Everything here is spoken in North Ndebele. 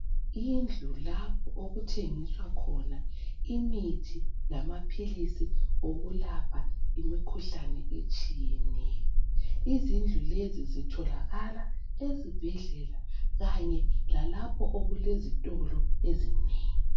Indlu lapho okuthengiswa khona imithi lamapilisi okulapha imikhuhlane etshiyene. Izindlu lezi zitholakala ezibhedlela kanye la lapho okule zitolo ezinengi.